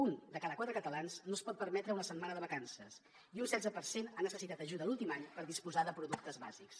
un de cada quatre catalans no es pot permetre una setmana de vacances i un setze per cent ha necessitat ajuda l’últim any per disposar de productes bàsics